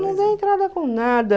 Não dei entrada com nada.